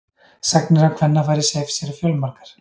Sagnir af kvennafari Seifs eru fjölmargar.